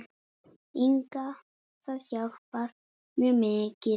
Inga Það hjálpar mjög mikið.